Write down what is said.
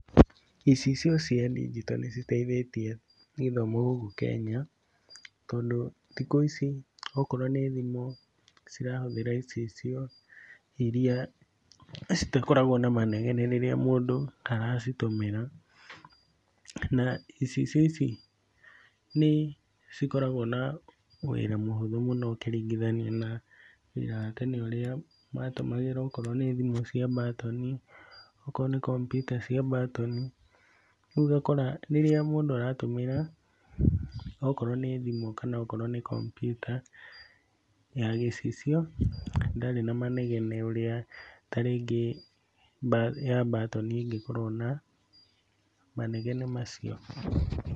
Icicio cia ndigito nĩciteithĩtie gĩthomo gũkũ Kenya, tondũ thikũ ici okorwo nĩ thimũ cirahũthĩra icicio iria citakoragwo na manegene rĩrĩa mũndũ aracitũmĩra, na icicio ici nĩcikoragwo na wĩra mũhũthũ mũno ũkĩringithania na wĩra wa tene ũria matũmagĩra okorwo nĩ thimũ cia batoni okorwo nĩ kompiuta cia batoni rĩu ũgakora rĩrĩa mũndũ aratũmĩra okorwo nĩ thimũ kana nĩ kompiuta ya gĩcicio ndarĩ na manegene ũrĩa ta rĩngĩ ya batoni ĩngĩkorwo na manegene macio.